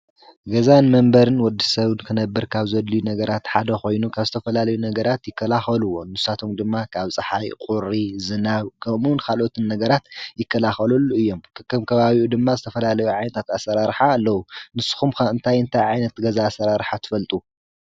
ገዛን መንበርን ወዲ ሰውድ ክነብር ካብ ዘልዩ ነገራት ሓደ ኾይኑ ካብ ዝተፈላለዩ ነገራት ይከላኸልዎ ንሳቶም ድማ ካብ ፣ፀሓይ፣ ቝሪ፣ ዘናብ ፣ከሙን ኻልኦትን ነገራት ይከላኸለሉ እዮም ከከም ካባቢኡ ድማ ዝተፈላለዩ ዓይንታትኣሠራርኃ ኣለዉ ንስኹም ከእንታይ እንታይ ዓይን ኣትገዛ ሠራርኃ ትፈልጡ?